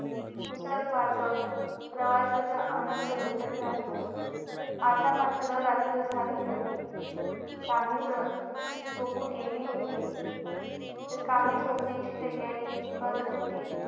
पुस्तक वाचत प्रवासा चा आनंद लुटत राहिले आता मात्र रात्र झाली होती काही जण झोपू गेले होते तर काही जण झोपे ची तयारी करत होते